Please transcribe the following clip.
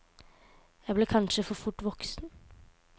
Jeg ble kanskje for fort voksen.